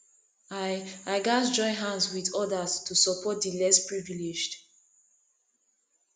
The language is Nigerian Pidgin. i i gats join hands with others to support di less privileged